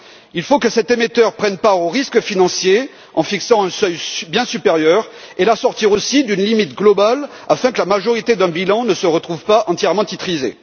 Il faut assurer que cet émetteur prenne part au risque financier en fixant un seuil bien supérieur et il faut aussi l'assortir d'une limite globale afin que la majorité d'un bilan ne se retrouve pas entièrement titrisée.